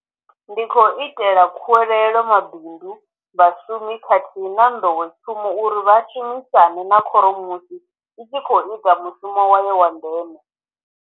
Ndi khou itela khuwelelo mabindu, vha shumi khathihi na nḓowetshumo uri vha shumisane na khoro musi i tshi khou ita mushumo wayo wa ndeme.